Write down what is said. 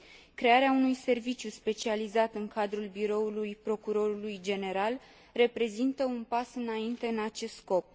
Crearea unui serviciu specializat în cadrul biroului Procurorului general reprezintă un pas înainte în acest scop.